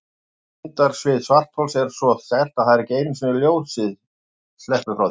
Þyngdarsvið svarthols er svo sterkt að ekki einu sinni ljósið sleppur frá því.